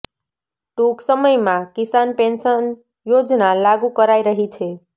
ટુંક સમયમાં કિસાન પેંશન યોજના લાગું કરાઇ રહી છે